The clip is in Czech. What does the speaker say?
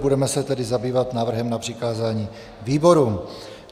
Budeme se tedy zabývat návrhem na přikázání výborům.